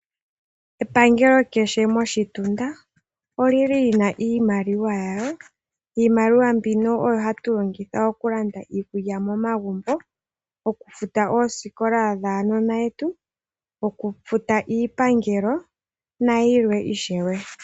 Epangelo kehe moshitunda oli li lina iimaliwa yalyo, iimaliwa mbino oyo hatu longitha okulanda iikulya momagumbo, okufuta oosikola dhaanona yetu, okufuta iipangelo nayilwe ishewe.